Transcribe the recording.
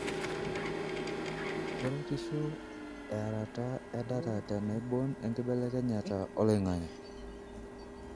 keretisho earata edata tenaibon enkibelekenyata oloingange.